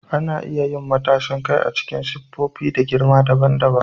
Ana iya yin matashin kai a cikin siffofi da girma daban daban.